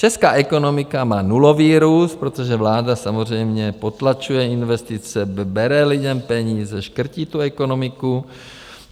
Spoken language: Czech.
Česká ekonomika má nulový růst, protože vláda samozřejmě potlačuje investice, bere lidem peníze, škrtí tu ekonomiku.